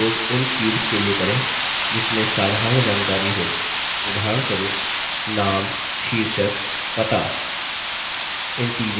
text का उपयोग उन fields के लिए करें जिसमें साधारण जानकारी हो उदाहरणस्वरूप name शीर्षक पता